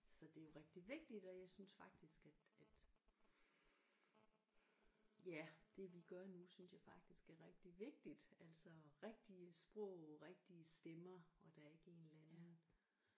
Så det er jo rigtig vigtigt og jeg synes faktisk at at ja det vi gør nu synes jeg faktisk er rigtig vigtigt altså rigtige sprog rigtige stemmer og der er ikke en eller anden